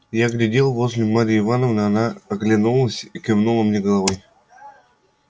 я глядел возле марьи ивановны она оглянулась и кивнула мне головой